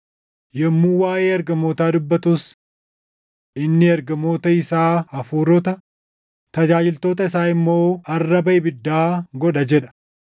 Yommuu waaʼee ergamootaa dubbatus, “Inni ergamoota isaa hafuurota, tajaajiltoota isaa immoo arraba ibiddaa godha” + 1:7 \+xt Far 104:4\+xt* jedha.